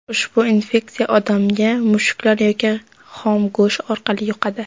Ushbu infeksiya odamga mushuklar yoki xom go‘sht orqali yuqadi.